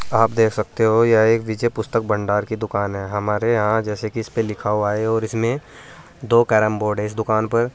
आप देख सकते हो यह एक नीचे पुस्तक भंडार की दुकान है हमारे यहां जैसे कि इसपे लिखा हुआ है और इसमें दो कैरम बोर्ड है इस दुकान पर।